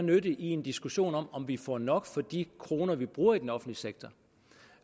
nytte i en diskussion om om vi får nok for de kroner vi bruger i den offentlige sektor